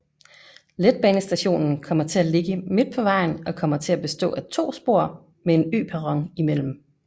Letbanestationen kommer til at ligge midt på vejen og kommer til at bestå af to spor med en øperron imellem